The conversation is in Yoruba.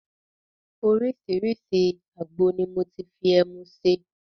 Oriṣiriṣi àgbo ni mo ti fi ẹmu ṣe.